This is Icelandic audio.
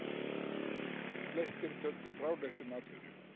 Flestir töldu fráleitt um atvinnu.